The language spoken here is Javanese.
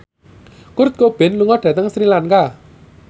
Kurt Cobain lunga dhateng Sri Lanka